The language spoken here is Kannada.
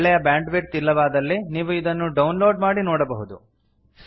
ಒಳ್ಳೆಯ ಬ್ಯಾಂಡ್ ವಿಡ್ತ್ ಇಲ್ಲದಿದ್ದಲ್ಲಿ ನೀವು ಇದನ್ನು ಡೌನ್ ಲೋಡ್ ಮಾಡಿ ನೋಡಬಹುದು